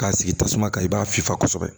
K'a sigi tasuma kan i b'a fifa kosɛbɛ